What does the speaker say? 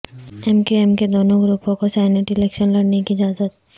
M Q M کے دونوں گروپوں کو سینیٹ الیکشن لڑنے کی اجازت